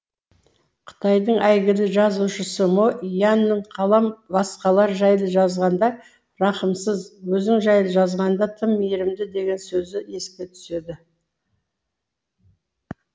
қытайдың әйгілі жазушысы мо янның қалам басқалар жайлы жазғанда рахымсыз өзің жайлы жазғанда тым мейірімді деген сөзі еске түседі